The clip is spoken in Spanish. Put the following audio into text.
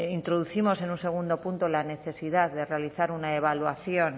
introducimos en un segundo punto la necesidad de realizar una evaluación